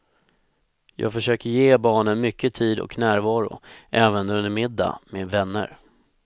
Jag försöker ge barnen mycket tid och närvaro även under en middag med vänner.